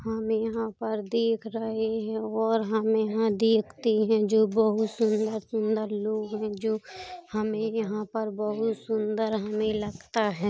हम यहाँ पर देख रहे हैं और हमे यहाँ देखते हैं जो बहोत सुन्दर-सुन्दर लोग हैं जो हमें यहाँ पर बहोत सुन्दर हमें लगता है।